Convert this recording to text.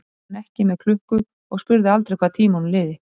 Samt var hann ekki með klukku og spurði aldrei hvað tímanum liði.